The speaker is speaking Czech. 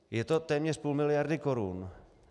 Je to téměř půl miliardy korun.